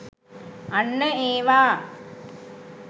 අන්න ඒවා!